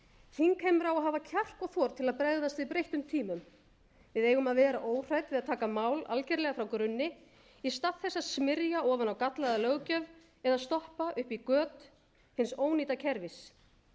þingheimur á að hafa kjark og þor til að bregðast við breyttum tímum við eigum að vera óhrædd við að taka mál algerlega frá grunni í stað þess að smyrja ofan á gallaða löggjöf eða stoppa upp í göt hins ónýta kerfis